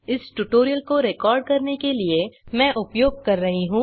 इस ट्यूटोरियल को रिकॉर्ड करने के लिए मैं उपयोग कर रहा हूँ